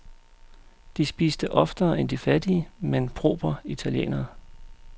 De spiste oftere end de fattige, men propre italienere.